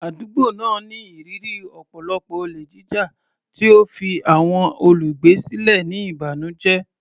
Àdúgbò náà ní ìrírí ọ̀pọ̀lọpọ̀ olè jíjà, tí ó fi àwọn olùgbé sílẹ̀ ní ìbànújẹ́.